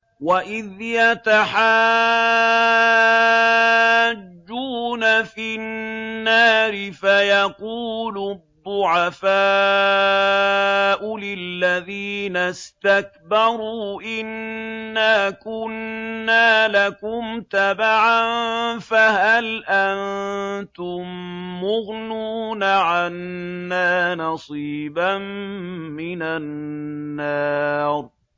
وَإِذْ يَتَحَاجُّونَ فِي النَّارِ فَيَقُولُ الضُّعَفَاءُ لِلَّذِينَ اسْتَكْبَرُوا إِنَّا كُنَّا لَكُمْ تَبَعًا فَهَلْ أَنتُم مُّغْنُونَ عَنَّا نَصِيبًا مِّنَ النَّارِ